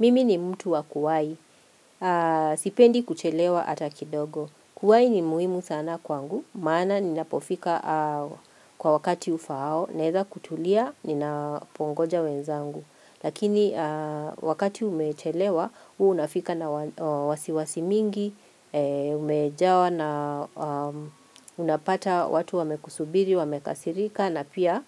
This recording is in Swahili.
Mimi ni mtu wa kuwahi, sipendi kuchelewa hata kidogo. Kuwahi ni muhimu sana kwangu, maana ninapofika kwa wakati ufaao, naeza kutulia, ninapongoja wenzangu. Lakini wakati umechelewa, huwa unafika na wasiwasi nyingi, umejawa na unapata watu wamekusubiri, wamekasirika, na pia